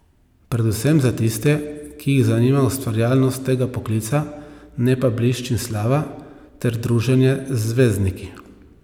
Predvsem za tiste, ki jih zanima ustvarjalnost tega poklica, ne pa blišč in slava ter druženje z zvezdniki.